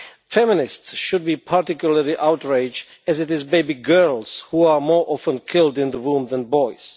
Feminists should be particularly outraged, as it is baby girls who are more often killed in the womb than boys.